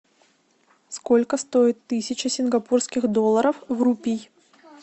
сколько стоит тысяча сингапурских долларов в рупий